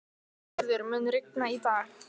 Sigurður, mun rigna í dag?